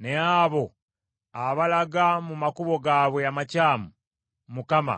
Naye abo abalaga mu makubo gaabwe amakyamu, Mukama